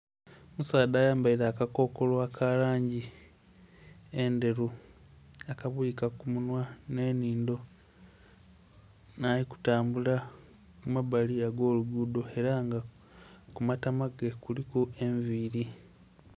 Omusadha ayambaire akakokolo aka langi endheru akabwika ku munwa ne nhindho ono ali kutambula kumbali okw'oluguudo era nga kumatama ge kuliku enviiri